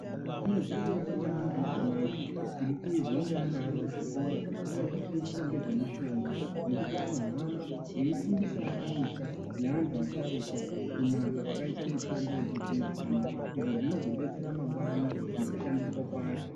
Chiro chakanaka maningi ichonacho chirikuizwa ngeana arikuzvikora arikufundiswa ngezvemishonga ngekuti anohamba eifundisawo aisa neantu asharukwa kunaka kwakaita mitombo yechizvino zvino izvo zvinozodetsera mangwanani mukushandiswa kwayo.